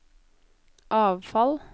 avfall